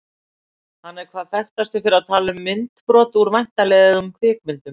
Hann er hvað þekktastur fyrir að tala inn á myndbrot úr væntanlegum kvikmyndum.